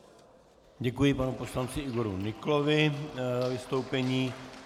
Děkuji panu poslanci Igoru Nyklovi za vystoupení.